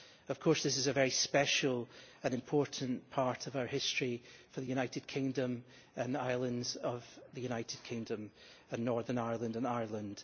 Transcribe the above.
Of course this is a very special and important part of our history, for the United Kingdom and islands of the United Kingdom and Northern Ireland and Ireland.